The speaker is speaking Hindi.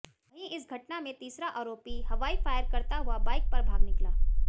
वहीं इस घटना में तीसरा आरोपी हवाई फायर करता हुआ बाइक पर भाग निकला